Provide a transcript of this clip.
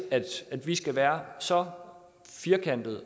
at vi skal være så firkantede